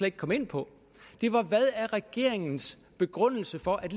ikke kom ind på det var hvad er regeringens begrundelse for at